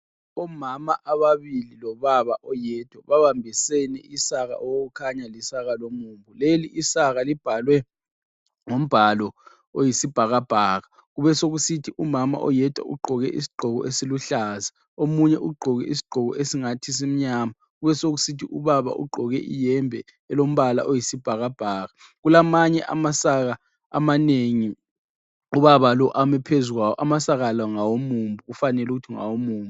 Omama ababili lobaba oyedwa babambisene isaka okukhanya lisaka lomumbu. Leli isaka libhalwe ngombhalo oyisibhakabhaka. Kubesokusithi umama oyedwa ugqoke isigqoko esiluhlaza ,omunye ugqoke isigqoko esingathi simnyama, kubesokusithi ubaba ugqoke ihembe elombala oyisibhakabhaka. Kulamanye amasaka amanengi, ubaba lo ami phezukwawo, amasaka la ngawomumbu, kufanele ukuthi ngawomumbu.